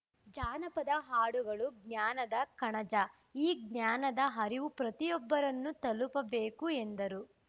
ಜಾನಪದ ಹಾಡುಗಳು ಜ್ಞಾನದ ಕಣಜ ಈ ಜ್ಞಾನದ ಅರಿವು ಪ್ರತಿಯೊಬ್ಬರನ್ನು ತಲುಪಬೇಕು ಎಂದರು